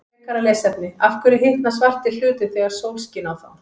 Frekara lesefni: Af hverju hitna svartir hlutir þegar sól skín á þá?